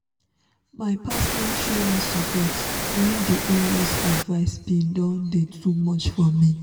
my partner show me support when di in-laws advice been don dey too much for me